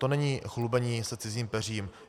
To není chlubení se cizím peřím.